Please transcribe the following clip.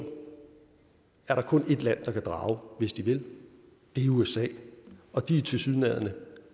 er der kun et land der kan drage hvis de vil det er usa og de er tilsyneladende